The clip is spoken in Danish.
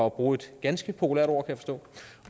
at bruge et ganske populært ord